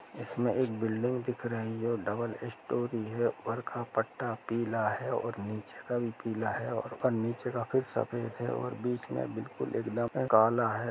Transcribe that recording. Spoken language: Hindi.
इसमें एक बिल्डिंग दिख रही है डबल स्टोर है ऊपर का पट्टा पिला है और नीचे का भी पिला है और नीचे काफी सफ़ेद है और बीच मे बिकुल एकदम काला है।